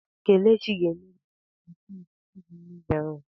Kelechi ga-emeri na asọmpi igwu mmiri ahụ.